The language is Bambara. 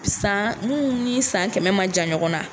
San minnu ni san kɛmɛ ma jan ɲɔgɔn na